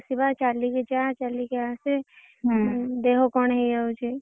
ଚାଲି କି ଜା ଚାଲି କି ଆସେ। ହୁଁ। ଦେହ କଣ ହେଇଯାଉଛି।